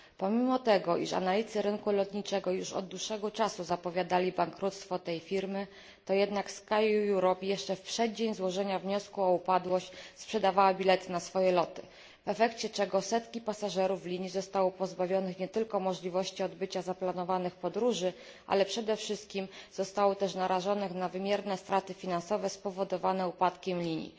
Pomimo że analitycy rynku lotniczego już od dłuższego czasu zapowiadali bankructwo tej firmy, to jednak SkyEurope jeszcze w przeddzień złożenia wniosku o upadłość sprzedawała bilety na swoje loty, w efekcie czego setki pasażerów linii zostało pozbawionych nie tylko możliwości odbycia zaplanowanych podróży, ale przede wszystkim zostało też narażonych na wymierne straty finansowe spowodowane upadkiem linii.